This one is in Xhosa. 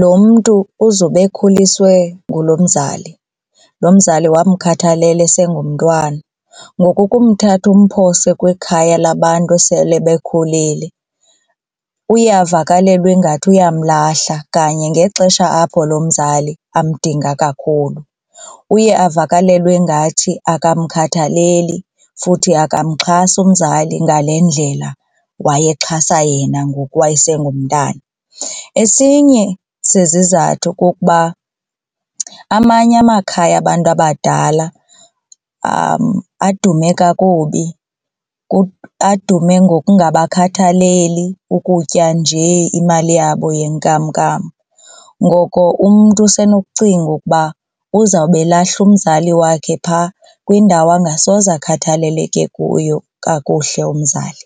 lo mntu uzobe ekhuliswe ngulo mzali lo mzali wamkhathalela esengumntwana ngoku ukumthatha umphose kwikhaya labantu esele bekhulile uyavakalelwa ingathi uyamlahla kanye ngexesha apho loo mzali amdinga kakhulu. Uye avakalelwe ngathi akamkhathaleli futhi akamxhasi umzali ngalendlela wayexhasa yena ngoku wayesengumntana. Esinye sezizathu kukuba amanye amakhaya abantu abadala adume kakubi adume ngokungabakhathaleli kukutya nje imali yabo yenkamnkam ngoko umntu usenokucinga ukuba uzawube elahla umzali wakhe phaa kwindawo angasoze akhathaleleke kuyo kakuhle umzali.